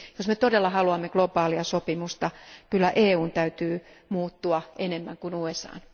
Jos me todella haluamme globaalia sopimusta, kyllä EUn täytyy muuttua enemmän kuin USAn.